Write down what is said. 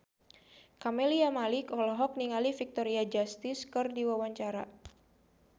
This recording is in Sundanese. Camelia Malik olohok ningali Victoria Justice keur diwawancara